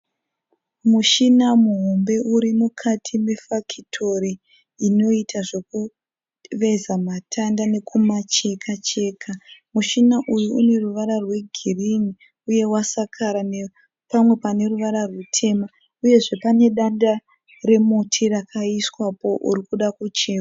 Mushina muhombe uri mukati mefakitori inoita zvekuveza matanda nekumacheka cheka. Mushina uyu une ruvara rwegirinhi uye wasakara nepamwe pane ruvara rutema uyezve pane danda remuti rakaiswapo uri kuda kuchekwa.